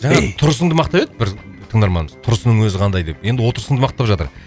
жаңа тұрысыңды мақтап еді бір тыңдарманымыз тұрысының өзі қандай деп енді отырысыңды мақтап жатыр